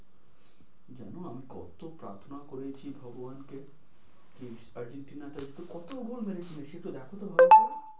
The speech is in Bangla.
জানো আমি কতো প্রার্থনা করেছি ভগবানকে please আর্জেন্টিনা কতো গোল মরেছে মেসি দেখতো একটু ভালো করে?